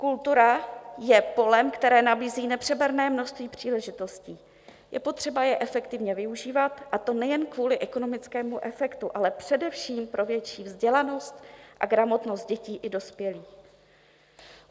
Kultura je polem, které nabízí nepřeberné množství příležitostí, je potřeba je efektivně využívat, a to nejen kvůli ekonomickému efektu, ale především pro větší vzdělanost a gramotnost dětí i dospělých.